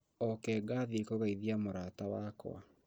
Oke ngathiĩ kũgeithia mũrata wakwa